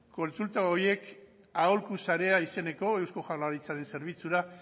kontsulta horiek aholku sarea izeneko eusko jaurlaritzaren zerbitzura